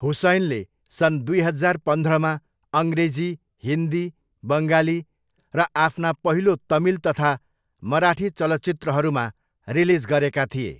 हुसैनले सन् दुई हजार पन्ध्रमा अङ्ग्रेजी, हिन्दी, बङ्गाली र आफ्ना पहिलो तमिल तथा मराठी चलचित्रहरूमा रिलिज गरेका थिए।